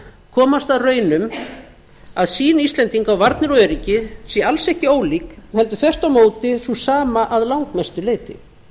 komast að raun um að sýn íslendinga á varnir og öryggi sé alls ekki ólík heldur þvert á móti sú sama að langmestu leyti